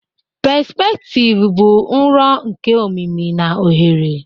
pespektivu bụ nro nke omimi na ohere